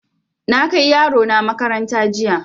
Na kai yaro na makaranta jiya.